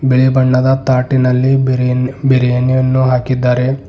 ಬಿಳಿ ಬಣ್ಣದ ತಾಟಿನಲ್ಲಿ ಬಿರಿ ಬಿರಿಯಾನಿಯನ್ನು ಹಾಕಿದ್ದಾರೆ.